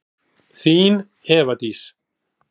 Þín, Eva Dís.